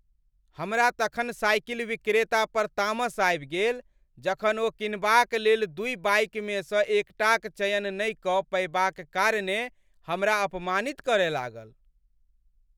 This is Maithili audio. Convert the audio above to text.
हमरा तखन साइकिल विक्रेता पर तामस आबि गेल जखन ओ किनबाक लेल दुइ बाइकमेसँ एकटाक चयन नहि कऽ पएबाक कारणेँ हमरा अपमानित करय लागल।